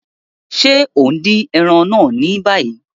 Ṣe o n din ẹran naa ni bayi?